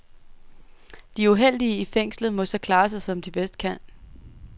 De uheldige i fængslet må så klare sig, som de bedst kan.